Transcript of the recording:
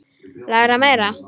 Læra meira?